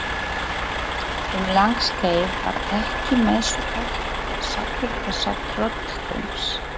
Um langt skeið var ekki messufært sakir þessa trölldóms.